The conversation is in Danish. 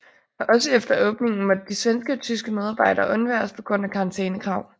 Og også efter åbningen måtte de svenske og tyske medarbejdere undværes på grund af karantænekrav